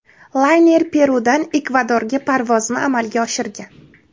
Layner Perudan Ekvadorga parvozni amalga oshirgan.